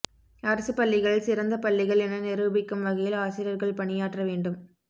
அரசுப்பள்ளிகள் சிறந்த பள்ளிகள் என நிரூபிக்கும் வகையில் ஆசிரியர்கள் பணியாற்றவேண்டும்